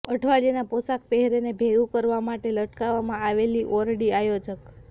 અઠવાડિયાના પોશાક પહેરેને ભેગું કરવા માટે લટકાવવામાં આવેલી ઓરડી આયોજક